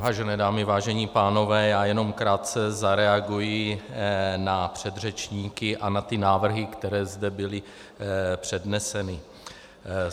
Vážené dámy, vážení pánové, já jenom krátce zareaguji na předřečníky a na ty návrhy, které zde byly předneseny.